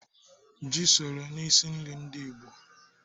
Ji soro n'isi nri ndị gboo.